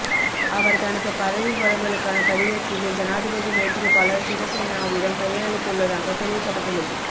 அவர் தனது பதவிவலகலுக்கான கடிதத்திகை ஜனாதிபதி மைத்திரிபால சிறசேனாவிடம் கையளித்துள்ளதாக தெரிவிக்கப்பட்டுள்ளது